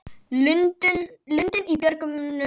Lundinn í björgum er.